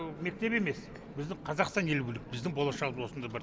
мектеп емес біздің қазақстан елі білу керек біздің болашағымыз осында бар